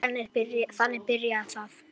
Þannig byrjaði það.